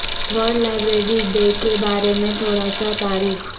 world library day کے بارے میں تھوڑا سا تاریخ